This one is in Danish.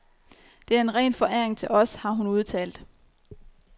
Det er en ren foræring til os, har hun udtalt.